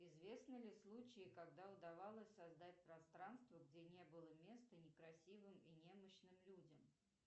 известны ли случаи когда удавалось создать пространство где не было места некрасивым и немощным людям